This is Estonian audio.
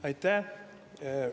Aitäh!